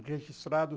registrado.